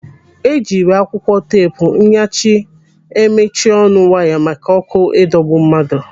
Ejiri akwụkwọ teepu nyachi emechi ọnụ waya maka ọkụ ịdọro mmadụ.